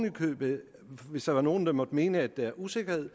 hvis der er nogen der måtte mene at der er usikkerhed